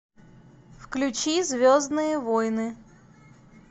включи звездные войны